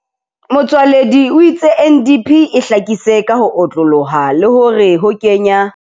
Motsoaledi o itse NDP e hlakisise ka ho otlolloha le hore ho kenya.